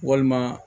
Walima